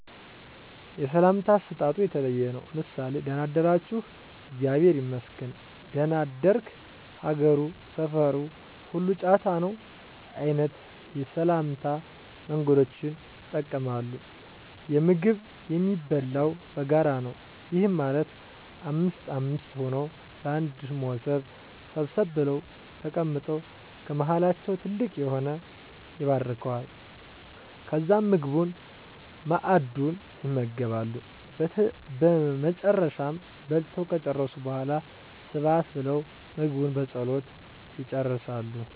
የሰላምታ አሰጣጡ የተለየ ነው። ምሳሌ:- ደና አደራችሁ? እግዚአብሔር ይመስገን ደና አደርክ? ሀገሩ፣ ሰፋሩ ሁሉ ጫታ ነው? አይነት የሰላምታ መንገዶችን ይጠቀማሉ። የምግብ የሚበላው በጋራ ነው። ይህም ማለት አምስት አምስት ሆነው በአንድ ሞሰብ ሰብሰብ ብለው ተቀምጠው ከመሀላቸው ትልቅ የሆነው ይባርከዋል። ከዛም ምግቡን(መአዱን) ይመገባሉ። በመጨረሻም በልተው ከጨረሱ በሗላ ስብሀት ብለው ምግቡን በፀሎት ይጨርሳሉ።